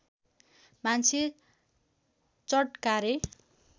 मान्छे चटकारे